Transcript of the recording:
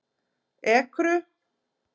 Ekru